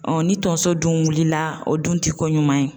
ni tonso dun wilila o dun ti ko ɲuman ye .